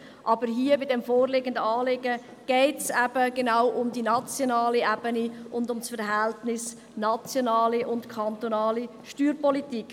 Aber hier, beim vorliegenden Anliegen, geht es um die nationale Ebene und um das Verhältnis zwischen der nationalen und der kantonalen Steuerpolitik.